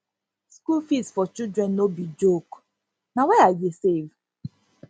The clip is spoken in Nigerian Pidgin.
school school fees for children no be joke na why i dey save